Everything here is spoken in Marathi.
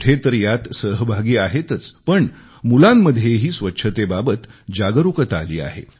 मोठे तर यात सहभागी आहेतच पण मुलांमध्येही स्वच्छतेबाबत जागरुकता आली आहे